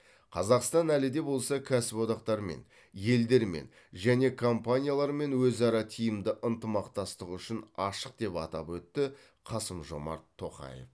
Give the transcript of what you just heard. қазақстан әлі де болса кәсіподақтармен елдермен және компаниялармен өзара тиімді ынтымақтастық үшін ашық деп атап өтті қасым жомарт тоқаев